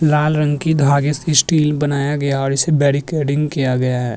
लाल रंग की धागे से स्टील बनाया गया है और इसे बेरिकेडिंग किया गया है।